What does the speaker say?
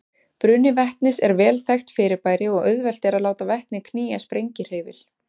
Bruni vetnis er vel þekkt fyrirbæri og auðvelt er að láta vetni knýja sprengihreyfil.